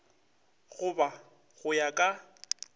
go ba go ya ka